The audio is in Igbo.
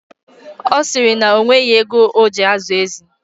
Ọ sịrị na o nweghi ego ọ ji azụ ezi.